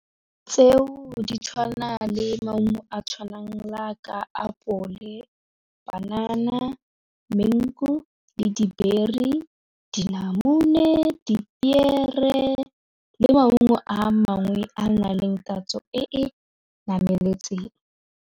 Tseo di tshwana le maungo a tshwanang la ka apole banana, mango le di-berry dinamune, dipiere le maungo a mangwe a na leng tatso e e nameletseng.